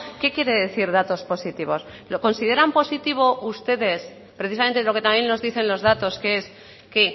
qué quiere decir datos positivos lo consideran positivo ustedes precisamente lo que también nos dicen los datos que es que